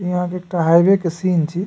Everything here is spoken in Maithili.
यहाँ पे एकठो हाईवे के सीन छे।